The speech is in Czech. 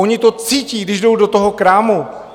Oni to cítí, když jdou do toho krámu.